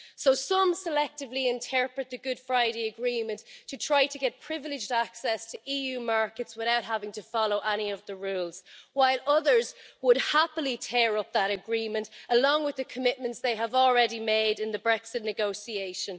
So some selectively interpret the Good Friday Agreement to try to get privileged access to EU markets without having to follow any of the rules, while others would happily tear up that agreement along with the commitments they have already made in the Brexit negotiation.